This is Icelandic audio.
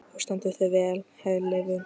Þú stendur þig vel, Herleifur!